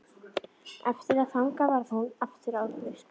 Eftir að þangað kom varð hún aftur ófrísk.